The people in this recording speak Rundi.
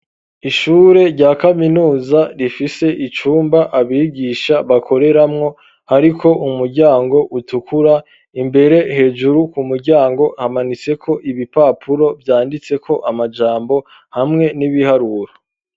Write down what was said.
Ishure rya kaminuza rifise icumba abigisha bakoreramwo, ariko umuryango utukura imbere hejuru ku muryango hamanitseko ibipapuro vyanditseko amajambo hamwe n'ibiharura.